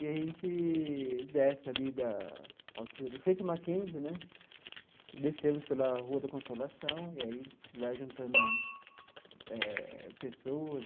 E a gente desce ali da altura, em frente ao Mackenzie né, descemos pela Rua da Consolação, e aí vai juntando eh pessoas,